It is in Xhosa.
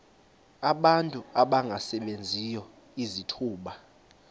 abantu abangasebenziyo izithuba